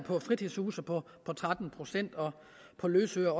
fritidshuse på tretten procent og på løsøre